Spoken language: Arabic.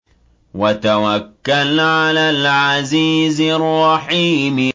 وَتَوَكَّلْ عَلَى الْعَزِيزِ الرَّحِيمِ